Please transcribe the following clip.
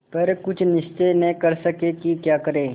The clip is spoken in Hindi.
पर कुछ निश्चय न कर सके कि क्या करें